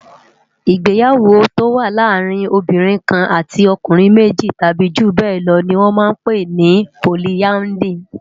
Igbéyàwó tó wà làárin óbìrín kán àtí òkúnrin méji tàbi júbèlò ni wòn mà n pé ni pólìàndrí